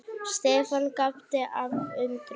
Stefán gapti af undrun.